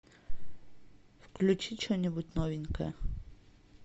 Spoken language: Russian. включи что нибудь новенькое